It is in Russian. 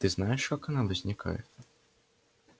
ты знаешь как она возникает